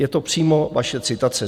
Je to přímo vaše citace.